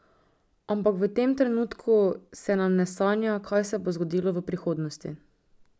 Ampak v tem trenutku se nam ne sanja, kaj se bo zgodilo v prihodnosti.